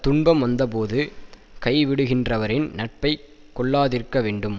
துன்பம் வந்த போது கைவிடுகின்றவரின் நட்பை கொள்ளாதிருக்க வேண்டும்